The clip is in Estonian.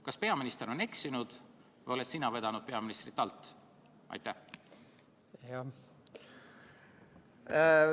Kas peaminister on eksinud või oled sina peaministrit alt vedanud?